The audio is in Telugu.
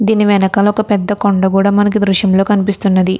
దీని వెనకాల ఒక పెద్ధ కొండ కూడా మనకి ఈ దృశ్యం లో కనిపిస్తున్నది.